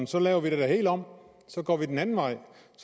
så laver vi det hele om og så går vi den anden vej